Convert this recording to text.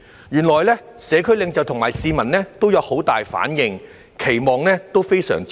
原來社區領袖和市民都有很大反應，期望也非常大。